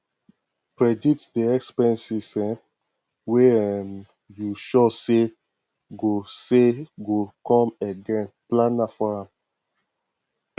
predict di expenses um wey um you sure sey go sey go come again plan for am